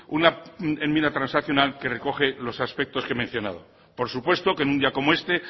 una enmienda transaccional que recoge los aspectos que he mencionado por supuesto que en un día como este